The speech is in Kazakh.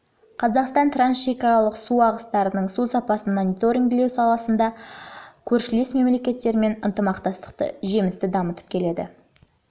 қазақстан трансшекаралық су ағыстарындағы су сапасын мониторингтеу саласы бойынша көршілес мемлекеттермен ынтымақтастықты жемісті дамытып келеді